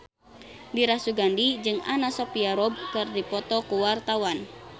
Dira Sugandi jeung Anna Sophia Robb keur dipoto ku wartawan